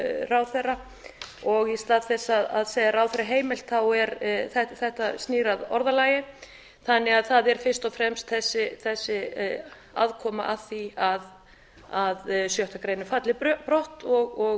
ráðherra og í stað þess að segja ráðherra heimilt þetta snýr að orðalagi þannig að það er fyrst og fremst þessi aðkoma að því að sjöttu grein falli brott og